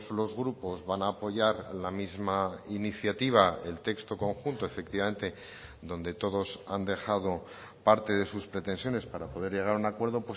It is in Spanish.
los grupos van a apoyar la misma iniciativa el texto conjunto efectivamente donde todos han dejado parte de sus pretensiones para poder llegar a un acuerdo